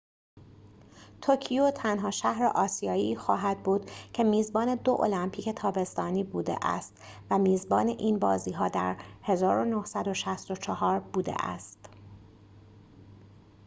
توکیو تنها شهر آسیایی خواهد بود که میزبان دو المپیک تابستانی بوده است و میزبان این بازی‌ها در ۱۹۶۴ بوده است